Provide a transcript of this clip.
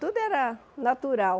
Tudo era natural.